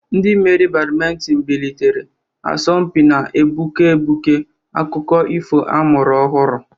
Ndị mmeri Badiminton bilitere, asọmpi na-egbuke egbuke, akụkọ ifo a mụrụ ọhụrụ.